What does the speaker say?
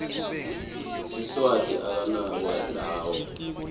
siswati anganakwa lawo